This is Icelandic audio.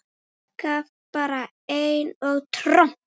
Gaf bara einn á tromp!